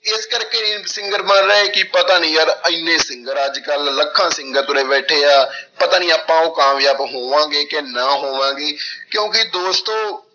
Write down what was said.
ਇਸ ਕਰਕੇ ਨੀ singer ਬਣ ਰਹੇ ਕਿ ਪਤਾ ਨੀ ਯਾਰ ਇੰਨੇ singer ਅੱਜ ਕੱਲ੍ਹ ਲੱਖਾਂ singer ਤੁਰੇ ਬੈਠੇ ਆ ਪਤਾ ਨੀ ਆਪਾਂ ਉਹ ਕਾਮਯਾਬ ਹੋਵਾਂਗੇ ਕਿ ਨਾਂ ਹੋਵਾਂਗੇ ਕਿਉਂਕਿ ਦੋਸਤੋ